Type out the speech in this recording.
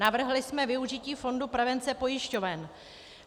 Navrhli jsme využití fondu prevence pojišťoven.